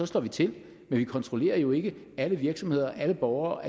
slår vi til men vi kontrollerer jo ikke at alle virksomheder og alle borgere